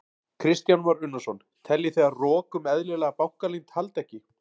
Kristján Már Unnarsson: Teljið þið að rok um eðlilega bankaleynd haldi ekki?